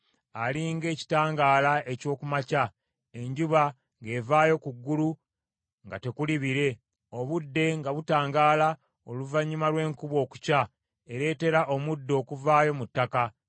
ali ng’ekitangaala eky’oku makya, enjuba ng’evaayo ku ggulu nga tekuli bire, obudde nga butangaala oluvannyuma lw’enkuba okukya ereetera omuddo okuvaayo mu ttaka.’